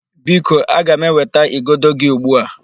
Biko, aga m eweta igodo gị ugbu a.